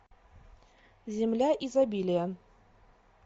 земля изобилия